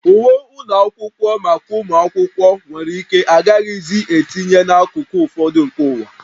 Uwe ụlọ akwụkwọ maka ụmụ akwụkwọ nwere ike agaghịzi etinye n'akụkụ ụfọdụ nke ụwa